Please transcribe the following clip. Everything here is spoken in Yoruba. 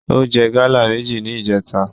Ó jẹ gáálà méjì ní ìjèta